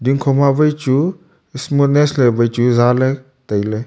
ding kho ma wai chu smoothest ley wai chu zah ley tai ley.